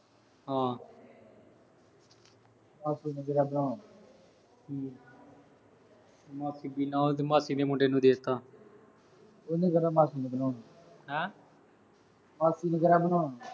ਹਾਂ। ਮਾਸੀ ਨੇ ਕਿਹੜਾ ਹਮ ਮਾਸੀ ਮਾਸੀ ਦੇ ਮੁੰਡੇ ਨੂੰ ਦੇਤਾ। ਉਹ ਨੇ ਕਿਹੜਾ ਮਾਸੀ ਨੂੰ ਦੇਣਾ ਹੁਣ। ਹੈਂ, ਮਾਸੀ ਨੇ ਕਿਹੜਾ ।